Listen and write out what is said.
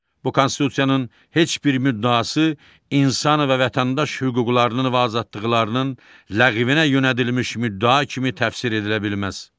Bu konstitusiyanın heç bir müddəası insan və vətəndaş hüquqlarının və azadlıqlarının ləğvinə yönədilmiş müddəa kimi təfsir edilə bilməz.